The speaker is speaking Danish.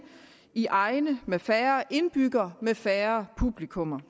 i egne med færre indbyggere med færre publikummer